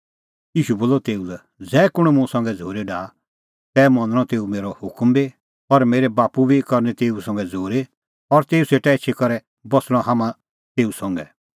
ईशू बोलअ तेऊ लै ज़ै कुंण मुंह संघै झ़ूरी डाहा तै मनणअ तेऊ मेरअ हुकम बी और मेरै बाप्पू बी करनी तेऊ संघै झ़ूरी और तेऊ सेटा एछी करै बस्सणअ हाम्हां तेऊ संघै